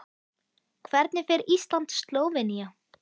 Hvernig fer Ísland- Slóvenía?